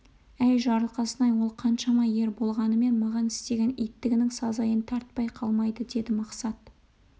әй жарылқасын-ай ол қаншама ер болғанымен маған істеген иттігінің сазайын тартпай қалмайды деді мақсат